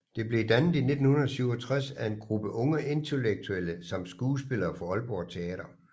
Det blev dannet i 1967 af en gruppe unge intellektuelle samt skuespillere fra Aalborg teater